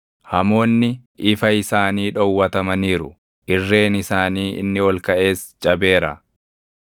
Hamoonni ifa isaanii dhowwatamaniiru; irreen isaanii inni ol kaʼes cabeera.